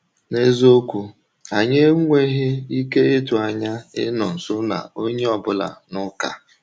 N’eziokwu, anyị enweghị ike ịtụ anya ịnọ nso na onye ọ bụla n’ụka.